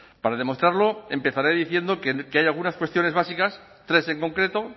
para demostrarlo empezaré diciendo que hay algunas cuestiones básicas tres en concreto